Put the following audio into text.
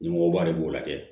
Ɲɛmɔgɔba de b'o lajɛ